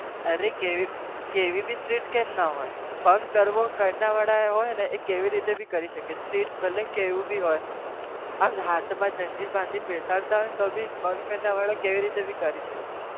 અરે કેવી કેવી भीstrict કેમ નાં હોઈ, bunk કરવો કરવાવાળા હોઈ ને એ કેવી રીતે બી પણ કરી શકે છે, strict ભલે ન ગમે તેવો હોય આમ હાથમાં જંજીર બાંધીને બેસાડતા હોય તો પણ bunk કરવાવાળા કેવી રીતે પણ કરી શકે.